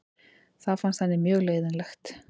Það fannst henni mjög leiðinlegt.